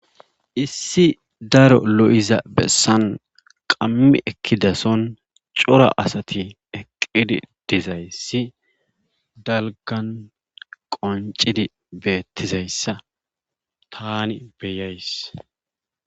Issi daro lo7ida bessan qammi ekkida son cora asati eqqidi dizayssi dalggan qonccidi beettizayssa taani beyays.